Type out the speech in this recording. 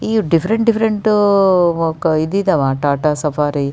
ಈ different different ಇದ್ ಇದ್ದಾವೆ ಟಾಟಾ ಸಫಾರಿ --